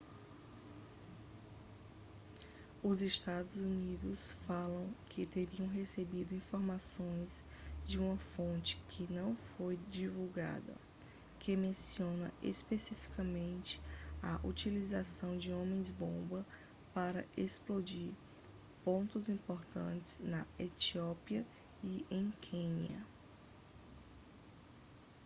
os estados unidos falam que teriam recebido informações de uma fonte que não foi divulgada que menciona especificamente a utilização de homens-bomba para explodir pontos importantes na etiópia e em quênia